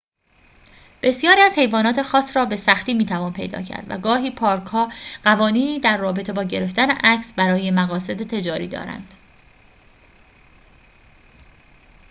بسیاری از حیوانات خاص را به سختی می‌توان پیدا کرد و گاهی پارک‌ها قوانینی در رابطه با گرفتن عکس برای مقاصد تجاری دارند